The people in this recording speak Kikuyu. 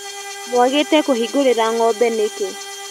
Mwagĩte kũhingũrĩra ngombe nĩkĩ.